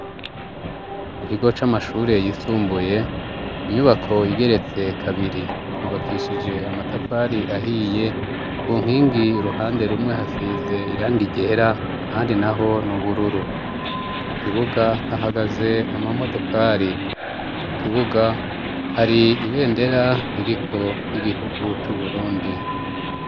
Kukigo c'amashuri yisumbuye, inyubako igeretse kabiri yubakishije amatafari ahiye, ku nkingi uruhande rumwe hasize iranga ryera, handi naho n'ubururu ku kibuga hahagaze amamodokari, kukibuga hari ibendera iriho ry'igihugu c'uburundi.